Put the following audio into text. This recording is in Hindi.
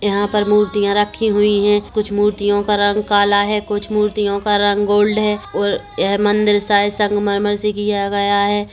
यहाँ पर मूर्तियाँ रखी हुई है कुछ मूर्तिया का रंग काला है कुछ मूर्तियों का रंग गोल्ड है और यह मंदिर शायद संगमरमर से किया गया हैं।